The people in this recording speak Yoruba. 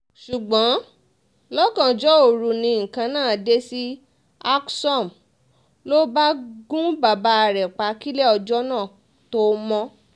ṣùgbọ́n lọ́gànjọ́ òru ni nǹkan náà dé sí alksom ló bá gun bàbá rẹ̀ pa kílẹ̀ ọjọ́ náà tóo mọ̀